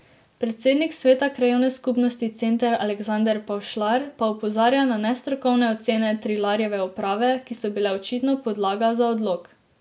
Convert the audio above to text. Predsednik sveta krajevne skupnosti Center Aleksander Pavšlar pa opozarja na nestrokovne ocene Trilarjeve uprave, ki so bile očitno podlaga za odlok.